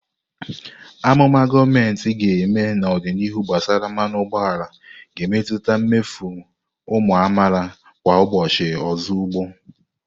Amụma gọọmentị ga-eme n'ọdịnihu gbasara mmanụ ụgbọala ga-emetụta mmefu ụmụ amaala kwa ụbọchị ozugbo.